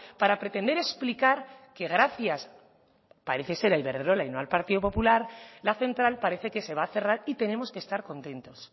para pretender explicar que gracias parece ser a iberdrola y no al partido popular la central parece que se va a cerrar y tenemos que estar contentos